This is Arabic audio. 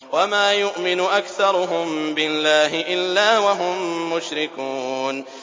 وَمَا يُؤْمِنُ أَكْثَرُهُم بِاللَّهِ إِلَّا وَهُم مُّشْرِكُونَ